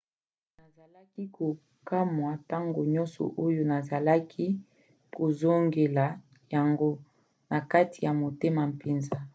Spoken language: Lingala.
nazalaki kokamwa ntango nyonso oyo nazalaki kozongela yango na kati ya motema mpenza